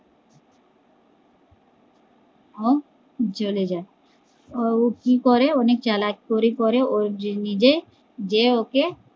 আহ জলে যায় ও কি করে অনেক জ্বালায় পরে করে ও নিজে যে ওকে